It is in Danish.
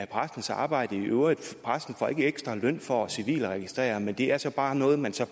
præstens arbejde i øvrigt præsten får ikke ekstra løn for denne civilregistrering men det er så bare noget man